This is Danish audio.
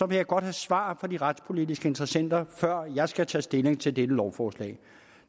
vil jeg godt have svar fra de retspolitiske interessenter før jeg skal tage stilling til dette lovforslag